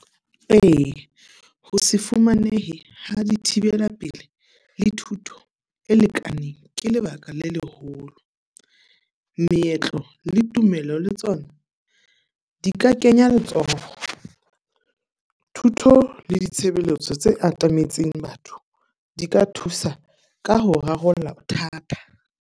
Ee, ho se fumanehe ha di thibela pelehi le thuto e lekaneng ke lebaka le leholo. Meetlo le tumelo le tsona di ka kenya letsoho. Thuto le ditshebeletso tse atametseng batho, di ka thusa ka ho rarolla bothata.